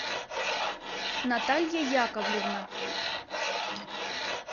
наталья яковлевна